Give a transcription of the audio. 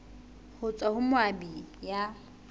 ho tswa ho moabi ya